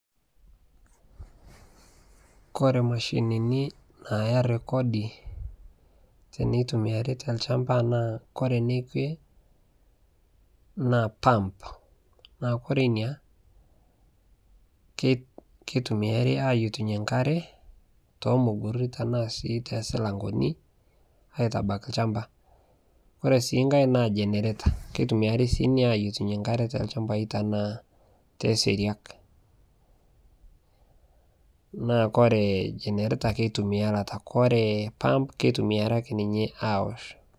Kore imashinini naaya rekodi tenitumiyai tolchamba naa ore enikue naa pump naa ore ina kitumiyari aayietunyie enkare too mugurri ashu sii tenaa toosilankeni aitabaiki olchamba ore sii enkae naa generator kitumiayari sii ina aayietu enkare tolchambai tenaa toosiriak naa ore generator kitumiari taata korre pump kitumiari sininye aaosh.